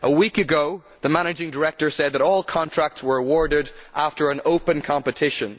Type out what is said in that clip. A week ago the managing director said that all contracts were awarded after an open competition.